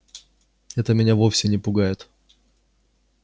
это меня вовсе не пугает